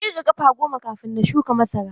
Na ƙirga ƙafa goma kafin na shuka masara.